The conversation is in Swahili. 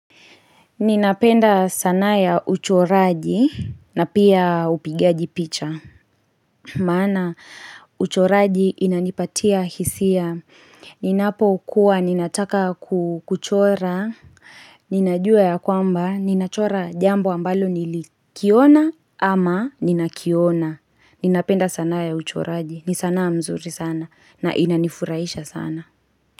Ninapenda sanaa ya uchoraji na pia upigaji picha. Maana uchoraji inanipatia hisia. Ninapo kuwa, ninataka kuchora. Ninajua ya kwamba, ninachora jambo ambalo nilikiona ama ninakiona. Ninapenda sana ya uchoraji. Ni sanaa mzuri sana na inani furahisha sana.